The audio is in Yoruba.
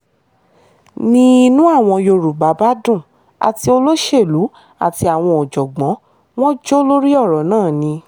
ni inú àwọn yorùbá bá dùn àti olóṣèlú àti àwọn ọ̀jọ̀gbọ́n wọn ń jó lórí ọ̀rọ̀ náà ni